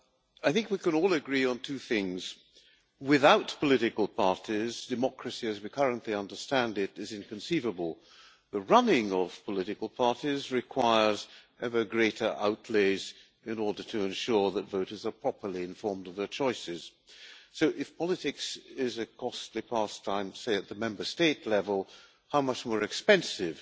I think we can all agree on two things without political parties democracy as we currently understand it is inconceivable. The running of political parties requires ever greater outlays in order to ensure that voters are properly informed of their choices. So if politics is a costly pastime, say, at the Member State level, how much more expensive